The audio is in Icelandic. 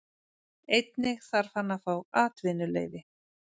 Einnig þarf hann að fá atvinnuleyfi.